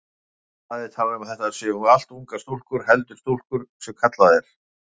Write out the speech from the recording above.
Blaðið talar um að þetta séu allt ungar stúlkur, heldri stúlkur sem kallað er.